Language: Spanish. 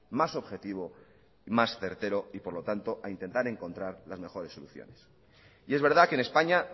más objetivo más certero y por lo tanto a intentar encontrar las mejores soluciones y es verdad que en españa